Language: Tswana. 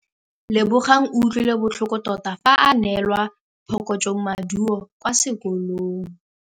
Lebogang o utlwile botlhoko tota fa a neelwa phokotsômaduô kwa sekolong.